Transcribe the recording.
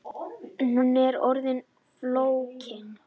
Hún er orðin of flókin